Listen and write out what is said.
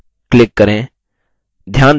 आयत के अंदर click करें